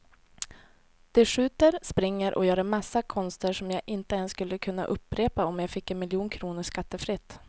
De skjuter, springer och gör en massa konster som jag inte ens skulle kunna upprepa om jag fick en miljon kronor skattefritt.